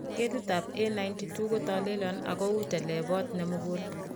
Ketitab A92 kotolelion ak uu telebot nemugul.